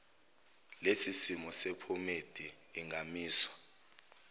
lesimiso sephomedi ingamiswa